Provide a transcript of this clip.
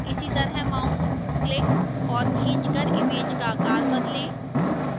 इसी तरह mouse click और खींच कर image का आकार बदलें